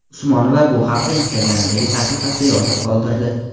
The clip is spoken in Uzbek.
Usmonova bu haqda Instagram’dagi sahifasida yozib qoldirdi.